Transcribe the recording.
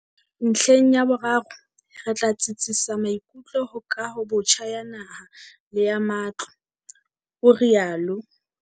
Ntlheng ya boraro, re tla tsitsisa maikutlo ho kahobotjha ya naha le ya matlo, o rialo.